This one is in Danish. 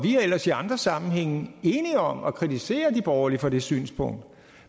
ellers i andre sammenhænge enige om at kritisere de borgerlige for det synspunkt